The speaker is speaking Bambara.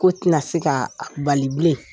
Ko tɛna se k'a bali bilen.